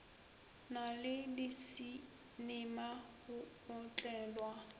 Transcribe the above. na le disinema go otlelwa